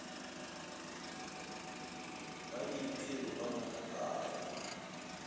ba diphiri ba mo kaba